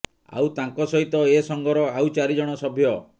ଆଉ ତାଙ୍କ ସହିତ ଏ ସଂଘର ଆଉ ଚାରି ଜଣ ସଭ୍ୟ